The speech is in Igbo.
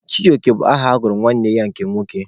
Chijioke bụ aha a gụrụ nwanne ya nke nwoke.